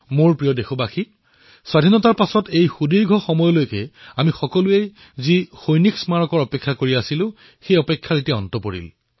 মোৰ মৰমৰ দেশবাসীসকল স্বাধীনতাৰ সময়ৰ পৰা দীৰ্ঘ দিনধৰি যি সৈনিক স্মাৰকৰ আমি প্ৰতীক্ষা কৰি আছিলো সেয়া সমাপ্ত হৈছে